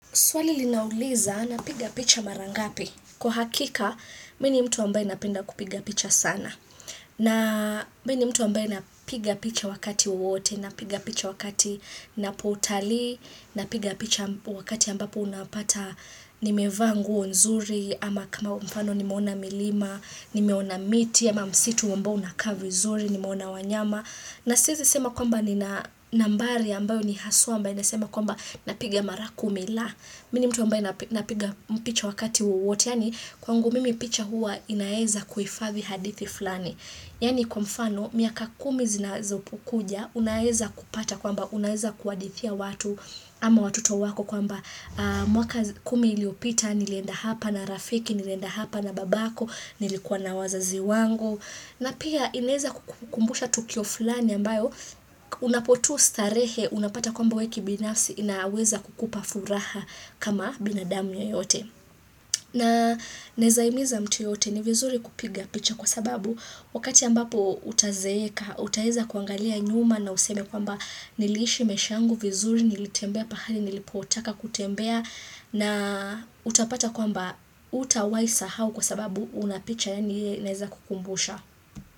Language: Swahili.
Swali linauliza, napiga picha mara ngapi. Kwa hakika, mi ni mtu ambaye napenda kupiga picha sana. Na mi ni mtu ambaye napiga picha wakati wowote, napiga picha wakati ninapotalii, napiga picha wakati ambapo unapata nimevaa nguo nzuri, ama kama mfano nimeona milima, nimeona miti, ama msitu ambao unakaa vizuri, nimeona wanyama. Na siezi sema kwamba nina nambari ambayo ni haswa ambayo nasema kwamba napiga mara kumi la. Mi ni mtu ambaye napiga picha wakati wowote. Yaani kwangu mimi picha hua inaeza kuhifadhi hadithi fulani. Yaani kwa mfano miaka kumi zinazokuja, unaeza kupata kwamba unaeza kuhadithia watu ama watoto wako kwamba mwaka kumi iliyopita, nilienda hapa na rafiki, nilienda hapa na babako, nilikuwa na wazazi wangu. Na pia inaeza kukumbusha tukio fulani ambayo unapotu starehe, unapata kwamba wewe kibinafsi inaweza kukupa furaha kama binadamu yoyote. Na naezahimiza mtu yeyote ni vizuri kupiga picha kwa sababu wakati ambapo utazeeka, utaeza kuangalia nyuma na useme kwamba niliishi maisha yangu vizuri, nilitembea pahali, nilipotaka kutembea na utapata kwamba hutawaisahau kwa sababu una picha yenye inaeza kukumbusha.